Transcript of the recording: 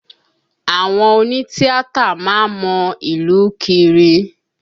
Àwọn òní tíátà má ń mọ ìlú kiri